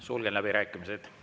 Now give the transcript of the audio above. Sulgen läbirääkimised.